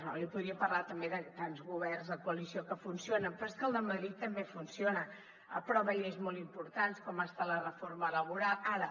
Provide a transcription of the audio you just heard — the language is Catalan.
jo li podria parlar també de tants governs de coalició que funcionen però és que el de madrid també funciona aprova lleis molt importants com ha estat la reforma laboral ara